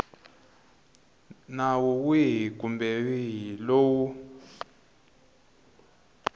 nawu wihi kumbe wihi lowu